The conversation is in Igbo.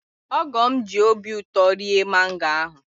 Ogo'm ji obi ụtọ rie mango ahụ